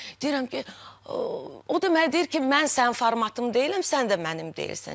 Deyirəm ki, o da mənə deyir ki, mən sənin formatın deyiləm, sən də mənim deyilsən.